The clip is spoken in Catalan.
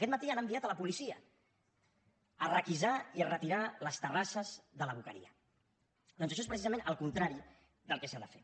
aquest matí han enviat la policia a requisar i a retirar les terrasses de la boqueria doncs això és precisament el contrari del que s’ha de fer